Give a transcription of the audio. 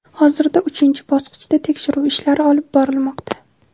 hozirda uchinchi bosqichda tekshiruv ishlari olib borilmoqda.